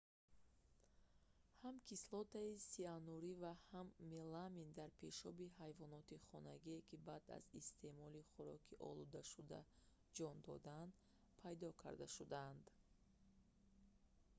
ҳам кислотаи сианурӣ ва ҳам меламин дар пешоби ҳайвоноти хонагие ки баъд аз истеъмолӣ хуроки олудашуда ҷон додаанд пайдо карда шуданд